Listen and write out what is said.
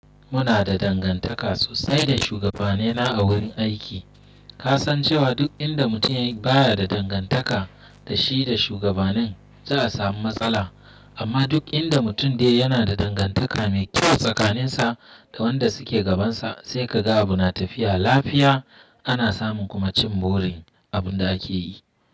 Muna da dangantaka sosai da shugabanena a wurin aiki. Ka san cewa duk inda mutum baya da dangantaka da shi da shugabanin za a samu matsala. Amma duk inda mutum dai yana da dangantaka mai kyau tsakaninsa da wanda suke gabansa sai ka ga abuna tafiya lafiya ana samun kuma cin burin abun da ake yi.